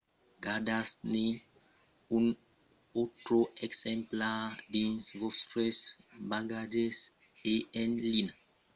gardatz-ne un autre exemplar dins vòstres bagatges e en linha vos mandatz un e-mail amb un fichièr o estremat dins lo nívol"